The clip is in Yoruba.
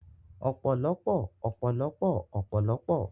Ọ̀pọ̀lọpọ̀ ọ̀pọ̀lọpọ̀ ọ̀pọ̀lọpọ̀